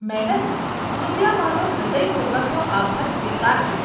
Madam, કૃપયા મારા હૃદયપૂર્વકનો આભાર સ્વીકારજો.